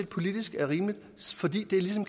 politisk rimeligt fordi det ligesom